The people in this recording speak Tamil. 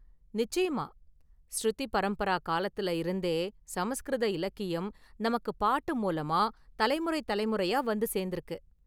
நிச்சயமா! 'ஸ்ருதி பரம்பரா' காலத்துல இருந்தே சமஸ்கிருத இலக்கியம் நமக்கு பாட்டு மூலமா தலைமுறை தலைமுறையா வந்து சேர்ந்திருக்கு.